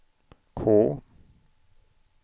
K